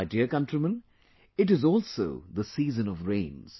My dear countrymen, it is also the season of rains